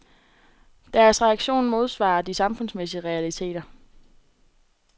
Deres reaktion modsvarer de samfundsmæssige realiteter.